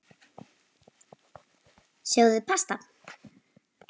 Sjóðið pasta.